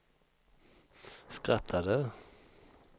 skrattade